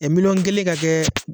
Ɛ miliyɔn kelen ka kɛ